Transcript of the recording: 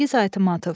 Çingiz Aytmatov.